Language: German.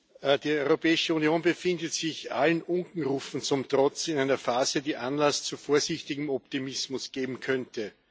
Herr Präsident! Die Europäische Union befindet sich allen Unkenrufen zum Trotz in einer Phase, die Anlass zu vorsichtigem Optimismus geben könnte.